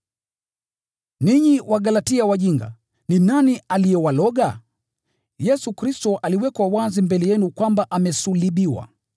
Ninyi Wagalatia wajinga! Ni nani aliyewaroga? Yesu Kristo aliwekwa wazi mbele yenu kwamba amesulubiwa.